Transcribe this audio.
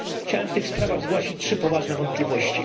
Chciałem w tych sprawach zgłosić 3 poważne wątpliwości.